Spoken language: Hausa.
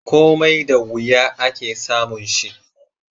Komai da wuya, ake samun shi